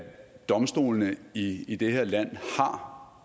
domstolene i i det her land